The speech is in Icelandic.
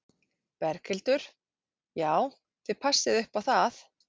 Berghildur: Já, þið passið upp á það?